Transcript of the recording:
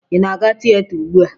Ị na-aga tieta ugbua?